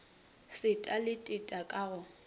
seta le teta ka go